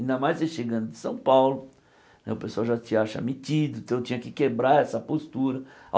Ainda mais você chegando de São Paulo, né o pessoal já te acha metido, então eu tinha que quebrar essa postura.